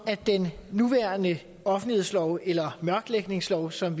at den nuværende offentlighedslov eller mørklægningslov som